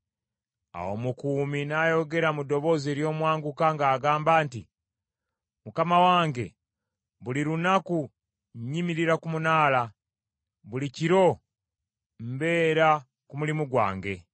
Awo omukuumi n’ayogera mu ddoboozi ery’omwanguka ng’agamba nti, “Mukama wange, buli lunaku nnyimirira ku munaala, buli kiro mbeera ku mulimu gwange.